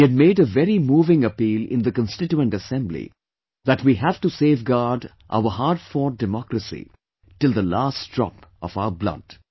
He had made a very moving appeal in the Constituent Assembly that we have to safeguard our hard fought democracy till the last drop of our blood